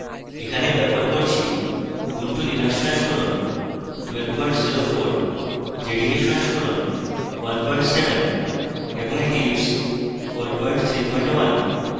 এখানে ব্যবহার করছি: উবুন্টু লিনাক্স সংস্করণ 1204 jdk সংস্করণ 17 এবং eclipse 431